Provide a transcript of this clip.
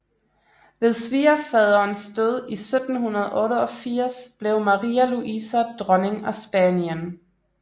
Ved svigerfaderens død i 1788 blev Maria Luisa dronning af Spanien